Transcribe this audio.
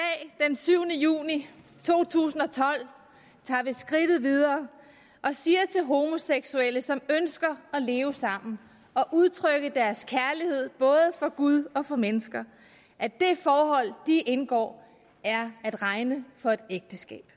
syvende juni to tusind og tolv tager vi skridtet videre og siger til homoseksuelle som ønsker at leve sammen og udtrykke deres kærlighed både for gud og for mennesker at det forhold de indgår er at regne for et ægteskab